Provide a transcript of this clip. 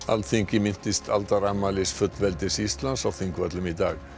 Alþingi minntist aldarafmælis fullveldis Íslands á Þingvöllum í dag